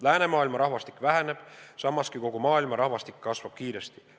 Läänemaailma rahvastik väheneb, samas kui kogu maailma rahvastik kasvab kiiresti.